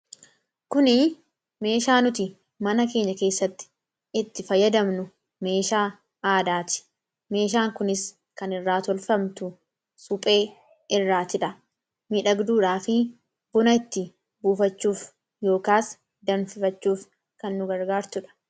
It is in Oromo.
kuni meeshaa nuti mana keenya keessatti itti fayyadamnu, meeshaa aadaati meeshaan kunis kan irraa tolfamtu suphee irraatidha . miidhagduudhaa fi buna itti buufachuuf yookaas danfifachuuf kan nu gargaartudha.